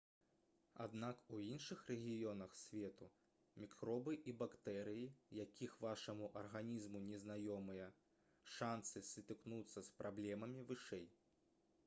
аднак у іншых рэгіёнах свету мікробы і бактэрыі якіх вашаму арганізму незнаёмыя шанцы сутыкнуцца з праблемамі вышэй